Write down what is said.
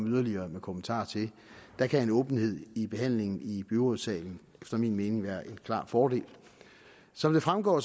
yderligere kommentarer til der kan åbenhed i behandlingen i byrådssalen efter min mening være en klar fordel som det fremgår